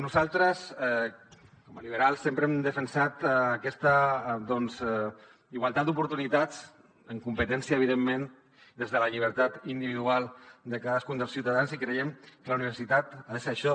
nosaltres com a liberals sempre hem defensat aquesta igualtat d’oportunitats en competència evidentment des de la llibertat individual de cadascun dels ciutadans i creiem que la universitat ha de ser això